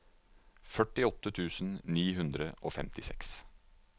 førtiåtte tusen ni hundre og femtiseks